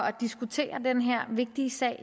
at diskutere den her vigtige sag